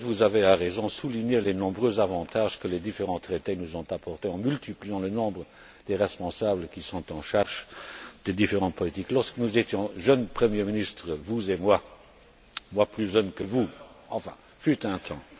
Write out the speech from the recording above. Pour le reste, vous avez, à juste titre, souligné les nombreux avantages que les différents traités nous ont apportés en multipliant le nombre des responsables en charge des différentes politiques. Lorsque nous étions jeunes Premiers ministres, vous et moi moi plus jeune que vous, enfin, fut un temps